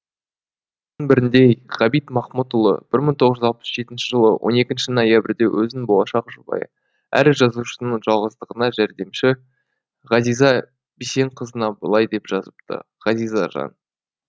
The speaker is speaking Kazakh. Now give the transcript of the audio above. бірінде ғабит махмұтұлы бір мың тоғыз жүз алпыс жетінші жылы он екінші ноябрьде өзінің болашақ жұбайы әрі жазушының жалғыздығына жәрдемші ғазиза бисенқызына былай деп жазыпты ғазиза жан